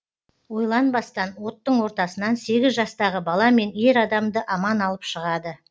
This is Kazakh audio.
ойланбастан оттың ортасынан сегіз жастағы бала мен ер адамды аман алып шығады